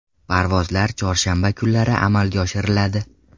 Parvozlar chorshanba kunlari amalga oshiriladi.